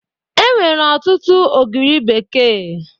Enwere ọtụtụ ogiri bekee